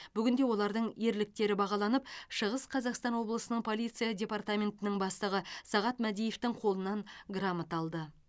бүгінде олардың ерліктері бағаланып шығыс қазақстан облысының полиция департаментінің бастығы сағат мәдиевтің қолынан грамота алды